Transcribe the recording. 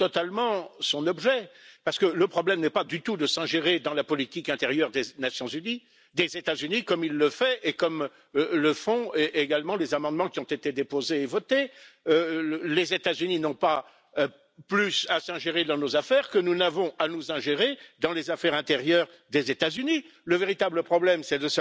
wzrostu gospodarczego, a co za tym idzie także rozwoju społecznego, no i w końcu bezpieczeństwa międzynarodowego. Wydaje się jednak, że taki świat, jaki znaliśmy do tej pory, przechodzi powoli do historii. Dzieje się to za sprawą obecnej administracji prezydenckiej w USA.